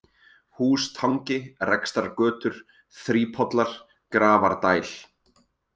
Hústangi, Rekstrargötur, Þrípollar, Grafardæl